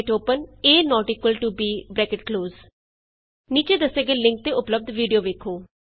Hint A B ਨੀਚੇ ਦੱਸੇ ਗਏ ਲਿੰਕ ਤੇ ਉਪਲੱਭਦ ਵੀਡੀਊ ਵੇਖੋ